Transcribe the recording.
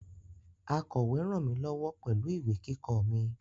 Akọ̀we ràn mí lọ́wọ́ pẹ̀lú ìwé kíkọ mi